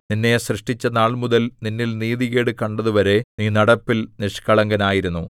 നിന്നെ സൃഷ്ടിച്ച നാൾമുതൽ നിന്നിൽ നീതികേട് കണ്ടതുവരെ നീ നടപ്പിൽ നിഷ്കളങ്കനായിരുന്നു